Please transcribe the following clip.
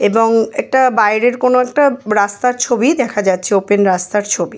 এবং এটা বাইরের কোনো একটা রাস্তার ছবি দেখা যাচ্ছে ওপেন রাস্তার ছবি।